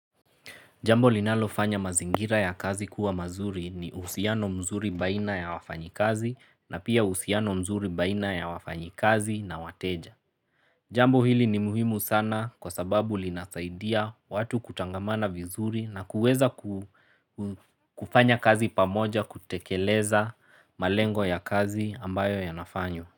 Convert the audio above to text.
Jambo linalofanya mazingira ya kazi kuwa mazuri ni uhusiano mzuri baina ya wafanyi kazi na pia uhusiano mzuri baina ya wafanyi kazi na wateja. Jambo hili ni muhimu sana kwa sababu linasaidia watu kutangamana vizuri na kuweza kufanya kazi pamoja kutekeleza malengo ya kazi ambayo yanafanywa.